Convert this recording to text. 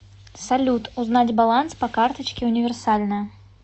салют узнать баланс по карточке универсальная